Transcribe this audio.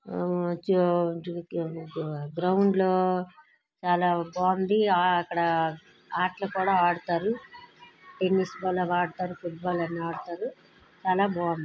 ఆ ఓ గ్రౌండ్లో చాలా బాగుంది. అక్కడ ఆటలు కూడా ఆడతారు. టెన్నిస్ కూడా ఆడతారు. ఫుట్ బాల్ ఆడతారు. చాలా బాగుంది.